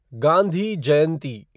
Gandhi Jayanti